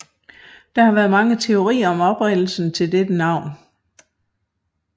Der har været mange teorier om oprindelsen til dette navn